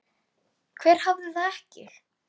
Hver hafði það ekki?